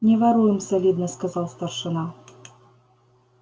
не воруем солидно сказал старшина